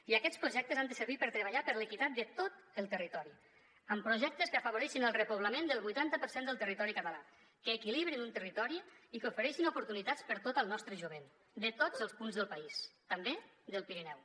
i aquests projectes han de servir per treballar per l’equitat de tot el territori amb projectes que afavoreixin el repoblament del vuitanta per cent del territori català que equilibrin un territori i que ofereixin oportunitats per a tot el nostre jovent de tots els punts del país també del pirineu